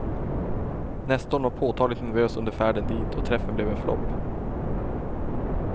Nestorn var påtagligt nervös under färden dit och träffen blev en flopp.